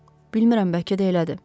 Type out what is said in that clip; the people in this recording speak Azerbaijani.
Bilmirəm, bəlkə də elədir.